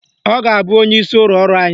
Ọ ga-abụ onyeisi ụlọ ọrụ anyị